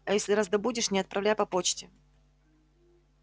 а если раздобудешь не отправляй по почте